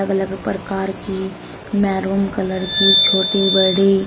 अलग प्रकार की मैरून कलर की छोटी बड़ी--